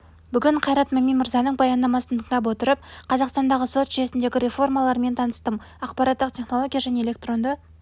бүгін қайрат мами мырзаның баяндамасын тыңдап отырып қазақстандығы сот жүйесіндегі реформаларымен таныстым ақпараттық теінология және электронды